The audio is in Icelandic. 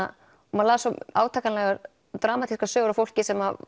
maður las svo átakanlegar og dramatískar sögur af fólki sem